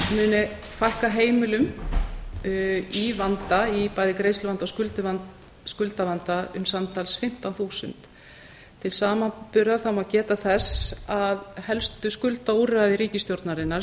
muni fækka heimilum í vanda í bæði greiðsluvanda og skuldavanda um samtals fimmtán þúsund til samanburðar má geta þess að helstu skuldaúrræði ríkisstjórnarinnar